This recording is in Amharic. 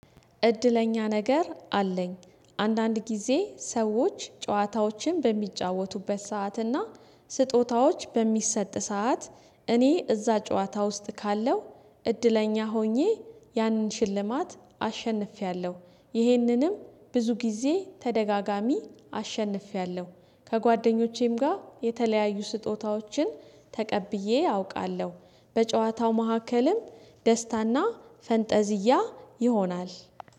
እድለኛ ነገር አለኝ አንዳንድ ጊዜ ሰዎች ጨዋታዎችን በሚጫወቱበት ሰዓትና ስጦታዎች በሚሰጥ ሰዓት እኔ እዛ ጨዋታ ውስጥ ካለው እድለኛ ሆኜ ያንን ሽልማት አሸንፌያለሁ። ይህንንም ብዙ ጊዜ ተደጋጋሚ አሸንፌያለሁ ከጓደኞቼም ጋር የተለያዩ ስጦታዎችን ተቀብዬ አውቃለሁ። በጨዋታው መሀከልም ደስታና ፈንጠዝያ ይሆናል